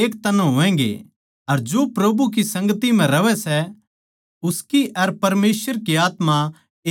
अर जो प्रभु की संगति म्ह रहवै सै उसकी अर परमेसवर की आत्मा एक हो जावै सै